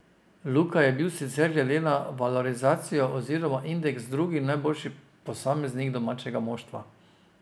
Luka je bil sicer glede na valorizacijo oziroma indeks drugi najboljši posameznik domačega moštva.